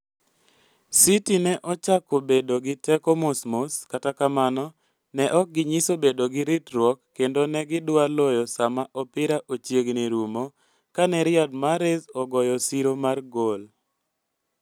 City ne ochako bedo gi teko mos mos, kata kamano, ne ok ginyiso bedo gi ritruok kendo ne gidwa loyo sama opira ochiegni rumo ka ne Riyad Mahrez ogoyo siro mar gol.